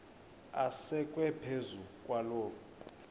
asekwe phezu kwaloo